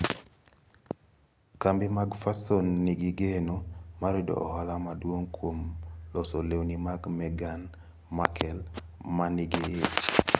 Kambi mag fason nigi geno mar yudo ohala maduong ' kuom loso lewni mag Meghan Merkle ma nigi ich